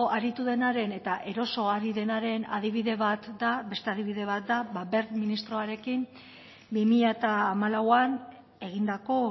aritu denaren eta eroso ari denaren adibide bat da beste adibide bat da wert ministroarekin bi mila hamalauan egindako